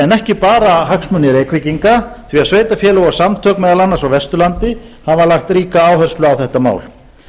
en ekki bara hagsmuni reykvíkinga því sveitarfélög og samtök meðal annars á vesturlandi hafa lagt ríka áherslu á þetta mál